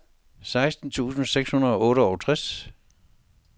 seksten tusind seks hundrede og otteogtres